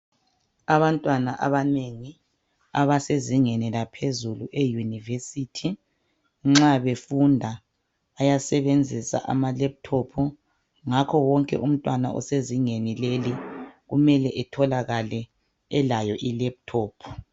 Abantwana abanengi abasezingeni laphezulu euniversity nxa befunda bayasebenzisa amalephuthophu ngakho wonke umntwana osezingeni leli kumele etholakale elayo ilephuthophu.